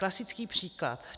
Klasický příklad.